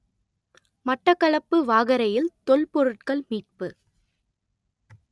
மட்டக்களப்பு வாகரையில் தொல்பொருட்கள் மீட்பு